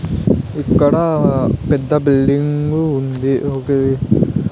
ఇక్కడా పెద్ద బిల్డింగు ఉంది ఒకది --